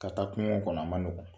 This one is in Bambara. Ka taa kungo kɔnɔ, a man nɔgɔ.